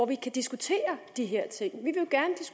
vi kan diskutere de her ting